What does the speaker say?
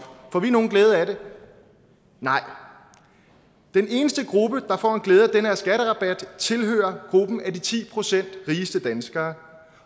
får vi nogen glæde af det nej den eneste gruppe der får glæde af den her skatterabat tilhører gruppen af de ti procent rigeste danskere